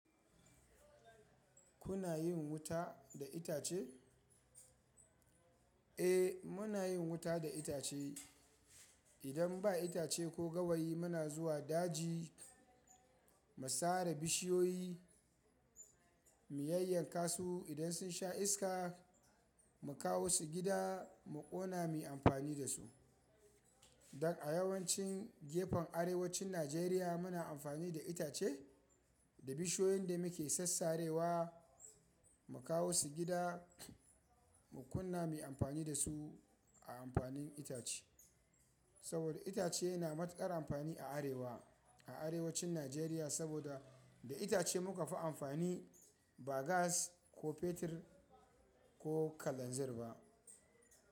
Kuna yin wuta da itace? Eh, muna yin wuta da itace. Idan ba itace ko gawayi muna zuwa daji mu sare bishiyoyi, mu yayyanka su. Idan sun sha iska, mu kawo su gida mu ƙona mu yi amfani da su. Don a yawancin gefen arewacin Najeriya muna amfani da itace da bishiyoyin da muke sassarewa. Mu kawo su gida mu ƙunna, mu yi amfani da su a amfanin itace. Saboda itace yana matuƙar amfani a arewa a arewacin Najeriya. Saboda da itace muka fi amfani, ba gas ko fetur ko kalanzir ba.